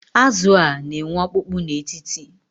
Azụ a, na-enwe ọkpụkpụ n’etiti